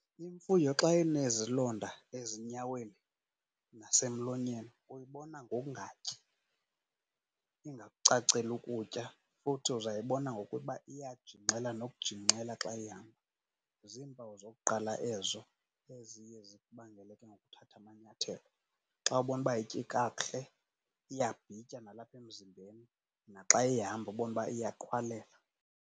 Imfuyo xa inezilonda ezinyaweni nasemlonyeni uyibona ngokungatyi, ingakucaceli ukutya. Futhi uzayibona ngokuba iyajingxela nokujingxela xa ihamba. Ziimpawu zokuqala ezo eziye zikubangele ke ngoku uthathe amanyathelo. Xa ubona uba ayityi kakuhle, iyabhitya nalapha emzimbeni naxa ihamba ubone uba iyaqhwalela.